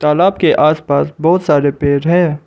तालाब के आस पास बहुत सारे पेड़ हैं।